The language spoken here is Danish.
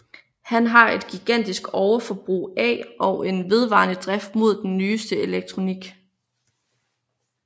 Han har et gigantisk overforbrug af og en vedvarende drift mod den nyeste elektronik